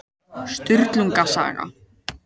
Sturlunga saga.